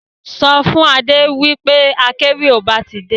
Sọ fún Adé wí pé akéwì ọba ti dé.